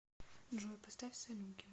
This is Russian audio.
джой поставь салуки